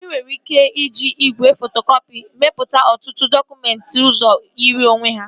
Ị nwere ike iji igwe fotokọpị mepụta ọtụtụ dọkụmentị ọzọ yiri onwe ha